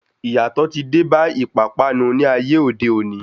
Iyatọ ti dé bá ìpápánu ní ayé òde òni.